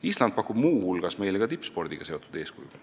Island pakub meile muu hulgas ka tippspordiga seotud eeskujusid.